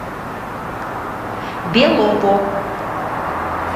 белово